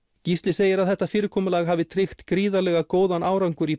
Gísli segir að þetta fyrirkomulag hafi tryggt gríðarlega góðan árangur í